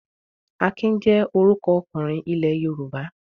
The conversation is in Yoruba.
Akin jẹ́ orúkọ ọkùnrin ilẹ̀ Yorùbá.